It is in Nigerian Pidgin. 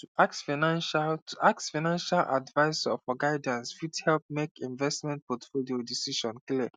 to ask financial to ask financial advisor for guidance fit help make investment portfolio decisions clear